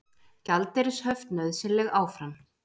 Gjaldeyrishöft nauðsynleg áfram